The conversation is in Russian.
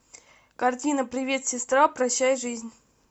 картина привет сестра прощай жизнь